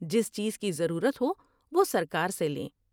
جس چیز کی ضرورت ہو وہ سرکار سے لیں ۔